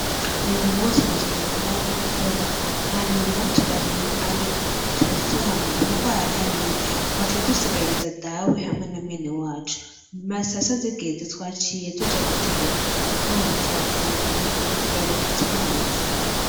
Uyu munsi najanye na Mawe gukora hanyuma turarima ariko ntitwigeze tuhamara kuko hari hanini, twaciye dusigariza Dawe hamwe na mwene wacu, hama sasita zigeze twaciye tuja guteka kandi twafunguye ubu turaruhutse neza.